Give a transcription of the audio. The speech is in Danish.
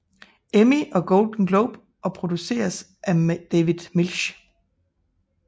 Emmy og Golden Globe og produceres af David Milch